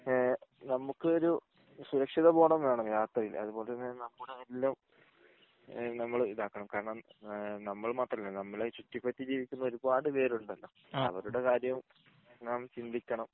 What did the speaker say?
ഏഹ് നമുക്കൊരു സുരക്ഷിത ബോധം വേണം യാത്രയിൽ അതുപോലെ തന്നെ നമ്മുട എല്ലാം ഈഹ് നമ്മൾ ഇതാക്കണം കാരണം ആഹ് നമ്മൾ മാത്രം അല്ല നമ്മളെ ചുറ്റിപറ്റി ജീവിക്കുന്ന ഒരുപാട് പേരുണ്ടല്ലോ അവരുടെ കാര്യവും ഞാൻ ചിന്തിക്കണം